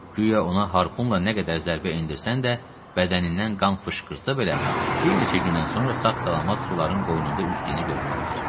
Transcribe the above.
Guya ona harpunla nə qədər zərbə endirsən də, bədənindən qan fışqırsa belə, bir neçə gündən sonra sağ-salamat suların qoynunda üzdüyünü görmək olar.